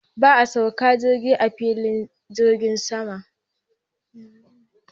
Za'a sauke jirgin a filin jirgin saman.